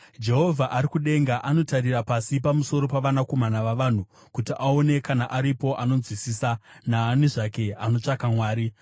Jehovha ari kudenga anotarira pasi pamusoro pavanakomana vavanhu, kuti aone kana aripo anonzwisisa, naani zvake anotsvaka Mwari.